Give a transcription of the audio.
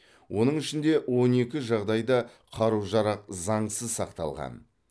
оның ішінде он екі жағдайда қару жарақ заңсыз сақталған